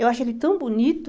Eu acho ele tão bonito.